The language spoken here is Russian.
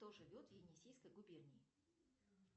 кто живет в енисейской губернии